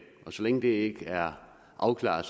og så længe det ikke er afklaret